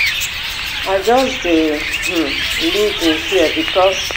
i just dey um live in fear bicos